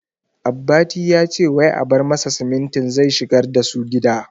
Abbati yace wai a bar masa simintin zai shigar dasu gida